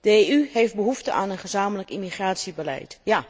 De EU heeft behoefte aan een gezamenlijk immigratiebeleid.